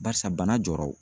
Barisa bana jɔra o.